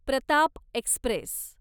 Pratap Express